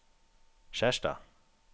Skjerstad